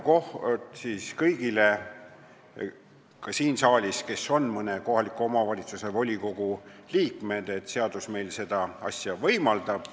Kinnitan kõigile nendele saalis olijatele, kes on ka mõne kohaliku omavalitsuse volikogu liikmed, et seadus meil sellist asja võimaldab.